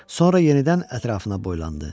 Sonra yenidən ətrafına boylandı.